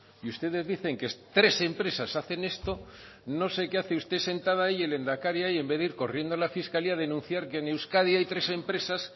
y ustedes dicen que tres empresas hacen esto no sé qué hace usted sentada ahí y el lehendakari ahí en vez de ir corriendo a la fiscalía a denunciar que en euskadi hay tres empresas